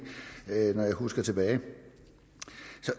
alle